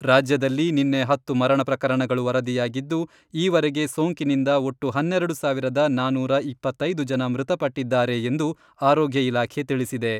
ರಾಜ್ಯದಲ್ಲಿ ನಿನ್ನೆ ಹತ್ತು ಮರಣ ಪ್ರಕರಣಗಳು ವರದಿಯಾಗಿದ್ದು, ಈವರೆಗೆ ಸೋಂಕಿನಿಂದ ಒಟ್ಟು ಹನ್ನೆರೆಡು ಸಾವಿರದ ನಾನೂರಾ ಇಪ್ಪತ್ತೈದು ಜನ ಮೃತಪಟ್ಟಿದ್ದಾರೆ ಎಂದು ಆರೋಗ್ಯ ಇಲಾಖೆ ತಿಳಿಸಿದೆ.